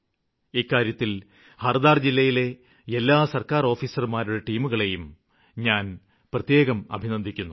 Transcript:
ഇക്കാര്യത്തില് ഹര്ദാ ജില്ലയിലെ എല്ലാ സര്ക്കാര് ഓഫീസര്മാരുടെ ടീമുകളെയും ഞാന് പ്രത്യേകം അഭിനന്ദിക്കുന്നു